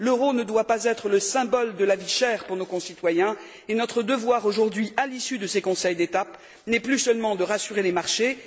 L'euro ne doit pas être le symbole de la vie chère pour nos concitoyens, et notre devoir aujourd'hui, à l'issue de ces Conseils d'étape, n'est plus seulement de rassurer les marchés.